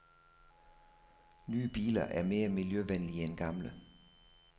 Nye biler er mere miljøvenlige end gamle.